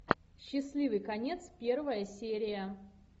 счастливый конец первая серия